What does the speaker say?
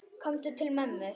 Komdu til mömmu.